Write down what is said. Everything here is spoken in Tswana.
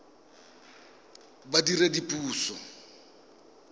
badiredipuso